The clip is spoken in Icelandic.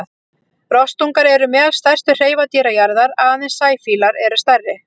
Rostungar eru meðal stærstu hreifadýra jarðar, aðeins sæfílar eru stærri.